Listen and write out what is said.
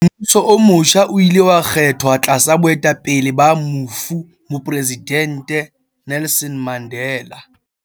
Mmuso o motjha o ile wa kgethwa tlasa boetapele ba mofu Mopresidente Nelson Mandela.